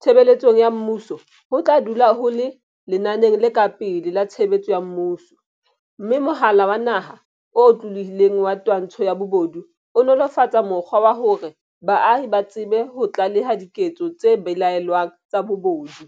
tshebeletsong ya mmuso ho tla dula ho le lenaneng le ka pele la tshebetso ya mmuso, mme Mohala wa Naha o Otlolohileng wa Twantsho ya Bobodu o nolo -fatsa mokgwa wa hore baahi ba tsebe ho tlaleha diketso tse belaellwang tsa bobodu.